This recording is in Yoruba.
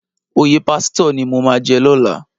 Óyé pásitò ni mó má jè lòlá